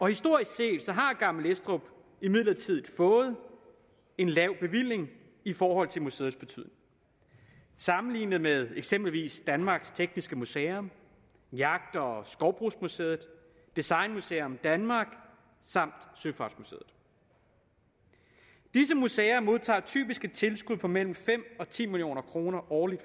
historisk set har gammel estrup imidlertid fået en lav bevilling i forhold til museets betydning sammenlignet med eksempelvis danmarks tekniske museum jagt og skovbrugsmuseet designmuseum danmark og søfartsmuseet disse museer modtager typisk et tilskud på mellem fem og ti million kroner årligt